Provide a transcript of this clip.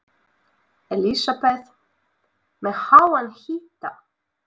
Elísabet: Með háan hita?